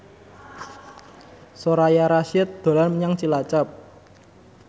Soraya Rasyid dolan menyang Cilacap